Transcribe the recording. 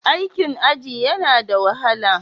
Aikin aji yana da wahala?